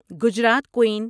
Gujarat قُین